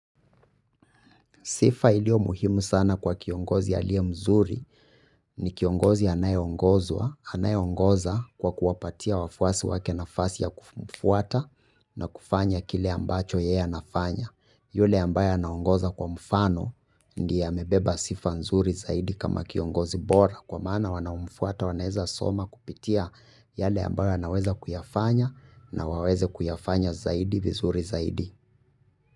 Sifa iliyo muhimu sana kwa kiongozi aliye mzuri ni kiongozi anaye ongozwa, anaye ongoza kwa kuwapatia wafuasi wake nafasi ya kufuata na kufanya kile ambacho yeye anafanya. Yule ambaye anaongoza kwa mfano ndiye amebeba sifa nzuri zaidi kama kiongozi bora kwa maana wanaomfuata wanaeza soma kupitia yale ambayo anaweza kuyafanya na waweze kuyafanya zaidi vizuri zaidi.